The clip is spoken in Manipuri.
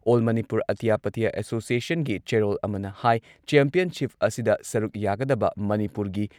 ꯑꯣꯜ ꯃꯅꯤꯄꯨꯔ ꯑꯇ꯭ꯌ ꯄꯇ꯭ꯌ ꯑꯦꯁꯣꯁꯤꯌꯦꯁꯟꯒꯤ ꯆꯦꯔꯣꯜ ꯑꯃꯅ ꯍꯥꯏ ꯆꯦꯝꯄꯤꯌꯟꯁꯤꯞ ꯑꯁꯤꯗ ꯁꯔꯨꯛ ꯌꯥꯒꯗꯕ ꯃꯅꯤꯄꯨꯔꯒꯤ